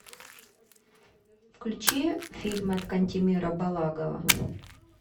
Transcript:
включи фильм от кантемира балагова